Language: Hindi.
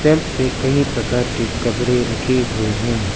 शेल्व्स पे कई प्रकार के कपड़े रखे हुए हैं।